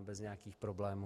bez nějakých problémů.